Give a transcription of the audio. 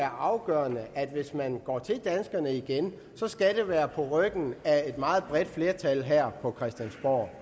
afgørende at hvis man går til danskerne igen skal det være på ryggen af et meget bredt flertal her på christiansborg